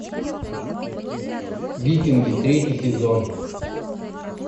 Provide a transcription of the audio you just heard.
викинги третий сезон